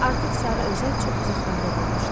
Artıq Sarı Özək çox uzaqlarda qalmışdı.